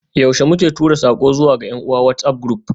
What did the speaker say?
Yaushe muke tura sako zuwa ga yan uwa WhatsAf group?